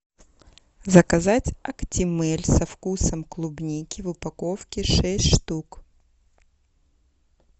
заказать актимель со вкусом клубники в упаковке шесть штук